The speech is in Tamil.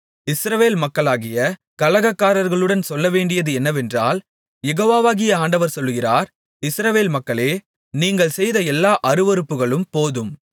இஸ்ரவேல் மக்களாகிய கலகக்காரர்களுடன் சொல்லவேண்டியது என்னவென்றால் யெகோவாகிய ஆண்டவர் சொல்லுகிறார் இஸ்ரவேல் மக்களே நீங்கள் செய்த எல்லா அருவருப்புகளும் போதும்